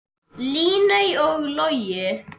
Líney og Logi.